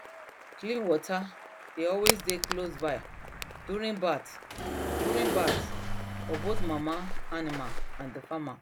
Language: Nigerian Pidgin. clean water dey always dey close by during birth during birth for both mama animal and the farmer